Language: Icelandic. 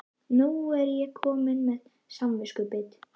Nú er ég komin með samviskubit.